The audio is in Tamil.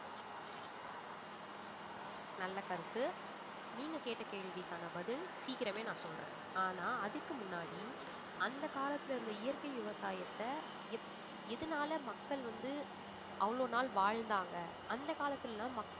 நல்ல கருத்து நீங்க கேட்ட கேள்விக்கான பதில் சீக்கிரமே நான் சொல்றேன். ஆனா அதுக்கு முன்னாடி அந்த காலத்திலிருந்த இயற்கை விவசாயத்த எப்~ எதனால மக்கள் வந்து அவ்வளவு நாள் வாழ்ந்தாங்க அந்த காலத்துல எல்லாம் மக்~